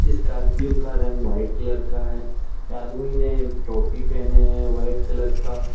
Scorpio का रंग white colour का है आदमी ने टोपी पहने हैं व्हाइट कलर का।